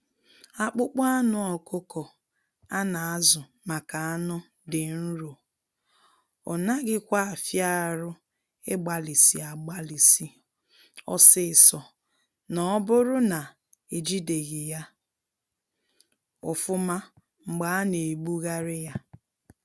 Akpụkpọ anụ ọkụkọ a na azụ maka anụ dị nro, ọ naghị kwa afia arụ ịgbalisi agbalisi ọsịsọ na oburu na ejideghi ya ofụma mgbe a na egbuari ya.